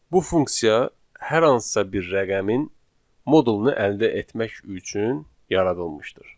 Bu funksiya hər hansısa bir rəqəmin modulunu əldə etmək üçün yaradılmışdır.